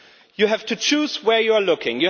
You have to choose where you are looking.